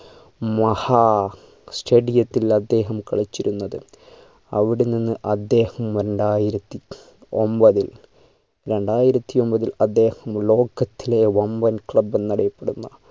മഹാ stadium യത്തിൽ അദ്ദേഹം കളിച്ചിരുന്നത് അവിടെ നിന്ന് അദ്ദേഹം രണ്ടായിരത്തി ഒമ്പതിൽ രണ്ടായിരത്തി ഒമ്പതിൽ അദ്ദേഹം ലോകത്തിലെ വമ്പൻ club എന്നറിയപ്പെടുന്ന